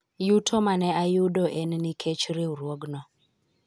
yuto mane ayudo en nikech riwruogno